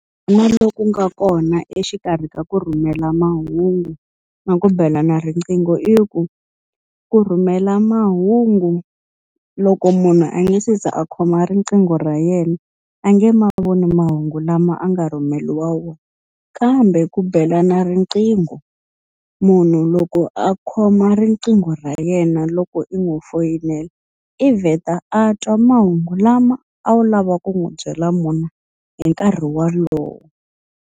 Loku nga kona exikarhi ka ku rhumela mahungu na ku bela na riqingho i ku, ku rhumela mahungu loko munhu a nga se za a khoma riqingho ra yena a nge ma voni mahungu lama a nga rhumeriwa wona. Kambe ku belana riqingho, munhu loko a khoma riqingho ra yena loko i n'wi foyinela i vheta a twa mahungu lama a wu lava ku n'wi byela wona hi nkarhi wolowo.